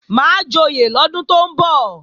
Máa joyè lọ́dún tó ń bọ̀